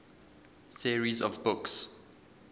series of books